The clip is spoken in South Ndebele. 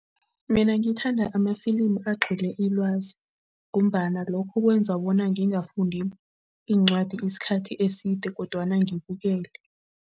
Mina ngithanda amafilimu agcwele ilwazi ngombana lokho kwenza bona ngingafundi iincwadi isikhathi eside kodwana ngibukele.